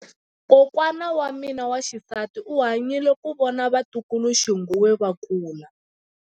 Kokwa wa mina wa xisati u hanyile ku vona vatukuluxinghuwe va kula.